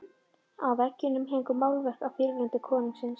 Á veggjum héngu málverk af fyrirrennurum konungsins.